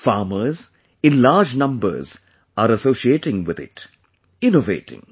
Farmers, in large numbers, of farmers are associating with it; innovating